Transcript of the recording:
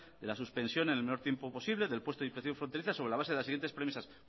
de la suspensión en el menor tiempo posible del puesto de inspección fronteriza sobre la base de las siguientes premisas